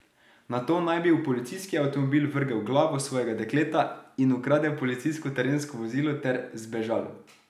Nato naj bi v policijski avtomobil vrgel glavo svojega dekleta in ukradel policijsko terensko vozilo ter zbežal.